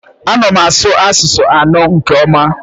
Ana m asụ asụsụ anọ nke ọma